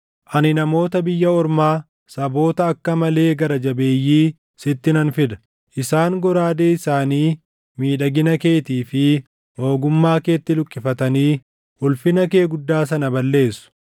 ani namoota biyya ormaa saboota akka malee gara jabeeyyii sitti nan fida; isaan goraadee isaanii miidhagina keetii fi ogummaa keetti luqqifatanii ulfina kee guddaa sana balleessu.